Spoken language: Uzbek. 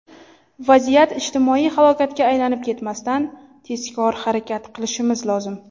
Vaziyat ijtimoiy halokatga aylanib ketmasdan, tezkor harakat qilishimiz lozim.